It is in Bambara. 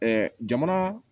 jamana